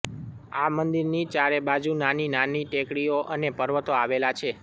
આ મંદિરની ચારેબાજુ નાની નાની ટેકરીઓ અને પર્વતો આવેલા છે